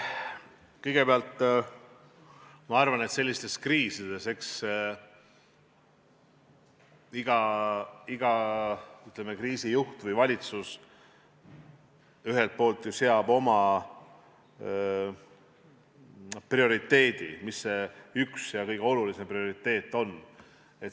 Kõigepealt, ma arvan, sellistes kriisides iga kriisijuht või valitsus ühelt poolt ju seab oma ühe ja kõige olulisema prioriteedi.